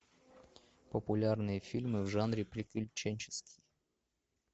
популярные фильмы в жанре приключенческий